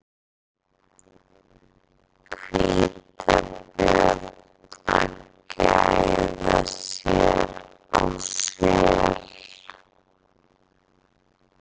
Hvítabjörn að gæða sér á sel.